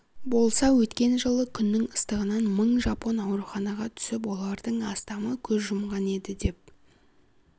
болса өткен жылы күннің ыстығынан мың жапон ауруханаға түсіп олардың астамы көз жұмған еді деп